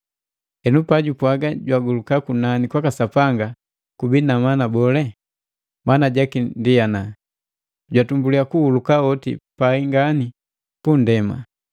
Henu pajupwaga, “Jagoluka kunani kwaka Sanga,” kubii na mana bole? Maana jaki ndi ana, jatumbuliya kuhuluka hoti pai ngani punndema.